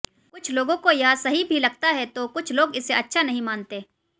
कुछ लोगों को यह सही भी लगता है तो कुछ लोग इसे अच्छा नहीं मानते